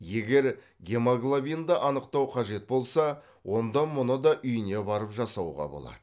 егер гемоглобинді анықтау қажет болса онда мұны да үйіне барып жасауға болады